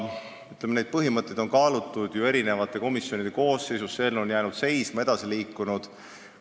Ütleme, et neid põhimõtteid on kaalutud erinevates komisjonides, eelnõu on vahepeal seisma jäänud ja siis edasi liikunud.